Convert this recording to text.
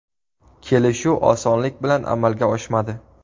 Kelishuv osonlik bilan amalga oshmadi.